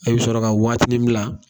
A bi sɔrɔ ka waatinin bila